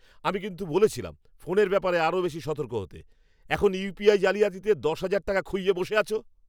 আমি কিন্তু বলেছিলাম ফোনের ব্যাপারে আরও বেশি সতর্ক হতে। এখন ইউপিআই জালিয়াতিতে দশ হাজার টাকা খুইয়ে বসে আছো!